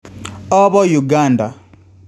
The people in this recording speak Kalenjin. Apo Uganda